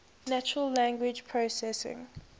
natural language processing